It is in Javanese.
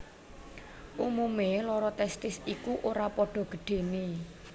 Umumé loro testis iku ora padha gedhené